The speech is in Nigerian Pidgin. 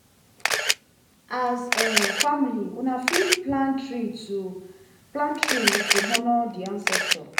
as um family una fit plant tree to plant tree to honor di ancestor